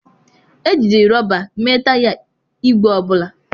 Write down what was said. Ejiri rọba mee taya igwe ọ bụla.